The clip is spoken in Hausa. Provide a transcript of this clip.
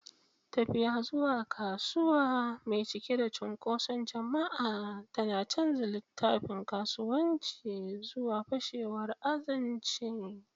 Tafiya zuwa kasuwa mai cike da cunkoson jama'a tana canza littafin kasuwanci zuwa fashewar azanci.